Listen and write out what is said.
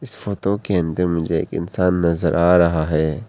इस फोटो के अंदर मुझे एक इंसान नजर आ रहा है।